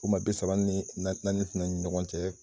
O ma bi saba ni na naani fɛnɛ ni ɲɔgɔn cɛ